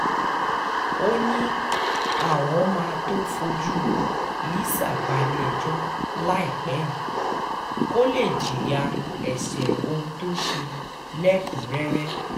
ó ní àwọn máa tóó fojú lisa balẹ̀-ẹjọ́ láìpẹ́ yìí kó lè jìyà ẹ̀ṣẹ̀ ohun tó ṣe lẹ́kùn-ún-rẹ́rẹ́